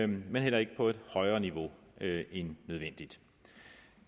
men heller ikke på et højere niveau end nødvendigt